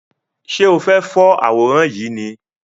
Ṣe o fẹ for àwòrán yìí ni?